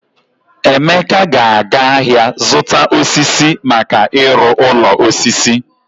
Emeka ga-aga ahịa zụta osisi maka ịrụ ụlọ osisi.